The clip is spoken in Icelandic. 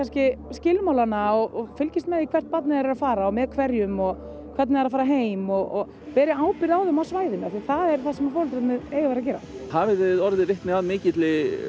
skilmálana og fylgist með hvert barnið er er að fara og með hverjum og hvernig það er að fara heim og beri ábyrgð á þeim á svæðinu því það er það sem foreldrarnir eiga að gera hafið þið orðið vitni að mikill